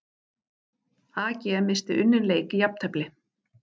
AG missti unninn leik í jafntefli